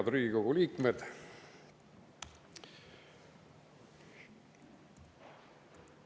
Head Riigikogu liikmed!